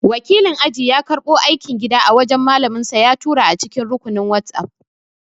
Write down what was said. Wakilin aji ya karɓo aikin gida a wajan malaminsa ya tura a cikin rukunin whatsapp